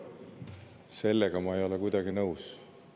Sellega ei ole ma kuidagi nõus.